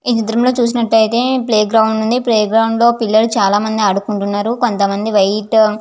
ఈ చిత్రం లో చూసినట్లయితే ప్లే గ్రౌండ్ ఉంది. ప్లే గ్రౌండ్ లో పిల్లలు చాల మంది ఆడుకుంటున్నారు. కొంత మంది వైట్ --